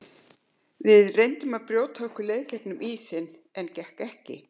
Við reyndum að brjóta okkur leið í gegnum ísinn en gekk ekki.